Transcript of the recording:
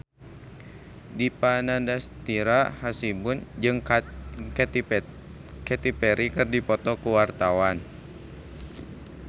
Dipa Nandastyra Hasibuan jeung Katy Perry keur dipoto ku wartawan